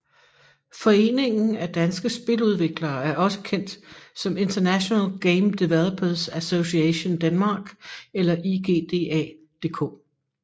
Foreningen af Danske Spiludviklere er også kendt som International Game Developers Association Denmark eller IGDA DK